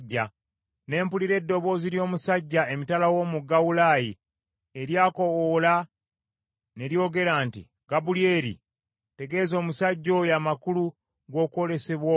Ne mpulira eddoboozi ly’omusajja emitala w’omugga Ulaayi, eryakoowoola, ne lyogera nti, “Gabulyeri, tegeeza omusajja oyo amakulu g’okwolesebwa okwo.”